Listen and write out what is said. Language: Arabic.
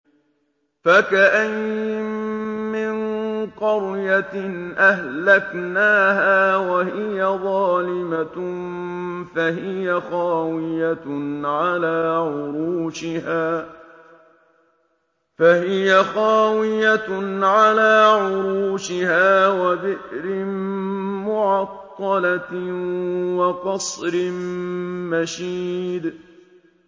فَكَأَيِّن مِّن قَرْيَةٍ أَهْلَكْنَاهَا وَهِيَ ظَالِمَةٌ فَهِيَ خَاوِيَةٌ عَلَىٰ عُرُوشِهَا وَبِئْرٍ مُّعَطَّلَةٍ وَقَصْرٍ مَّشِيدٍ